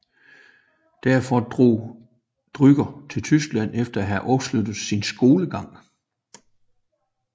Derfor drog Drucker til Tyskland efter at have afsluttet sin skolegang